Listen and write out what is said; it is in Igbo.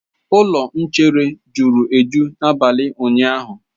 Ụlọ nchere juru eju n'abalị ụnyaahụ.